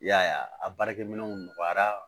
I y'a ye a baarakɛminɛnw nɔgɔyara